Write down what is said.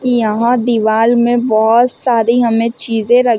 कि यहां दीवार में बहुत सारी हमें चीजें रख --